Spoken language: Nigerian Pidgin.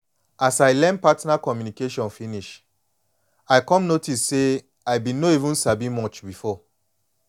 as i learn partner communication finishe i come notice say i been no even sabi much before